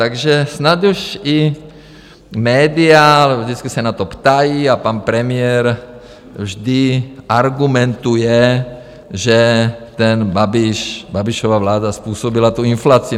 Takže snad už i média vždycky se na to ptají a pan premiér vždy argumentuje, že ten Babiš, Babišova vláda způsobila tu inflaci.